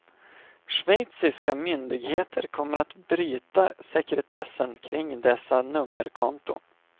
Schweiziska myndigheter kommer att bryta sekretessen kring dessa nummerkonton.